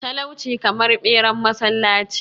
talauci kamar beran masallaci